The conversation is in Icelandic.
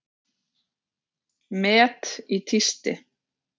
Met í tísti